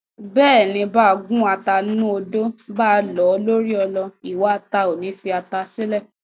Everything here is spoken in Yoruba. Bẹ́ẹ̀ni, báa gún ata ńnú odó, báa lọ̀ ọ́ lórí ọlọ, iwa ata ò ní fi ata sílẹ̀.